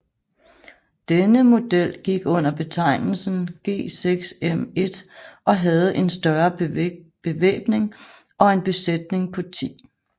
Denne model gik under betegnelsen G6M1 og havde en større bevæbning og en besætning på 10